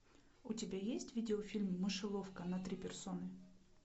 у тебя есть видеофильм мышеловка на три персоны